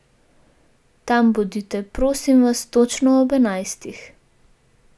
Tam bodite, prosim vas, točno ob enajstih.